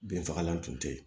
Binfagalan tun tɛ yen